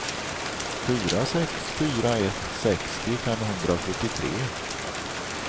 fyra sex fyra ett sextio femhundrasjuttiotre